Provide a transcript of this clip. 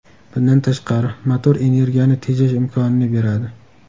Bundan tashqari, motor energiyani tejash imkonini beradi.